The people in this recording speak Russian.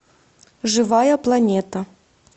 живая планета